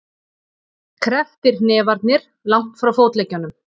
Krepptir hnefarnir langt frá fótleggjunum.